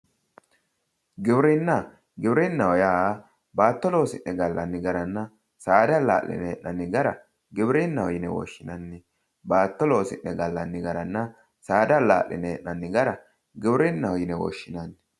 giwirinna giwirinna yaa baatto loosi'ne gallanni garanna saada allaa'line hee'nanni gara giwirinnaho yine woshshinanni baatto loosi'ne gallanni garanna saada allaa'line hee'nanni gara giwirinnaho yine woshshinanni.